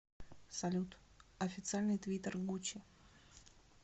салют официальный твиттер гуччи